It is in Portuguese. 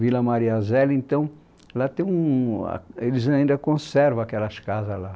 Vila Mariazela, então, lá tem um... eles ainda conservam aquelas casas lá.